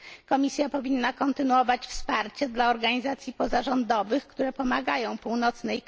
Komisja powinna kontynuować wsparcie dla organizacji pozarządowych, które pomagają Korei Północnej.